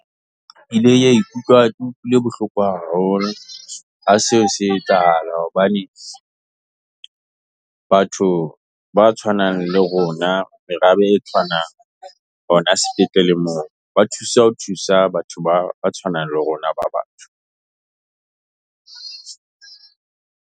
Ke ile ka ikutlwa ke utlwile bohloko haholo. ha seo se etsahala hobane, batho ba tshwanang le rona, merabe e tshwanang, hona sepetlele moo, ba thusa ho thusa batho ba tshwanang le rona ba bang.